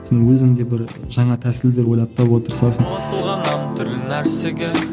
сосын өзің де бір жаңа тәсілдер ойлап табуға тырысасың ұмытылған нәрсеге